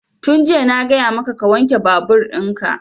Tun jiya na gaya maka ka wanke babur in ka!